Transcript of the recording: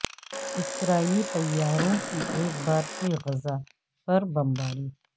اسرائیلی طیاروں کی ایک بار پھر غزہ پر بمباری